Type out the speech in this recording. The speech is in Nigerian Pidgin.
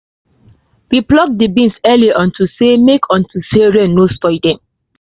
we pluck the beans early unto say make unto say make rain no spoil dem